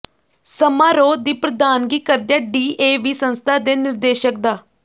ਸਮਾਰੋਹ ਦੀ ਪ੍ਰਧਾਨਗੀ ਕਰਦਿਆਂ ਡੀਏਵੀ ਸੰਸਥਾ ਦੇ ਨਿਰਦੇਸ਼ਕ ਡਾ